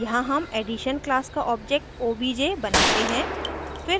यहाँ हम addition class का object obj बनाते हैं